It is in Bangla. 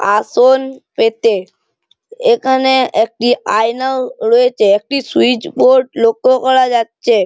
আসন পেতে। এখানে একটি আয়নাও রয়েছে। একটি সুউচ বোর্ড লক্ষ্য করা যাচ্ছে।